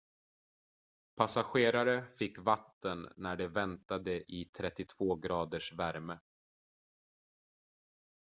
passagerare fick vatten när de väntade i 32-graders värme